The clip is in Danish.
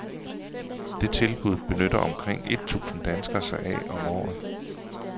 Det tilbud benytter omkring et tusind danskere sig af om året.